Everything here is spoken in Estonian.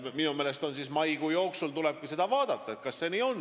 Minu meelest tulebki maikuu jooksul vaadata, kas see on nii.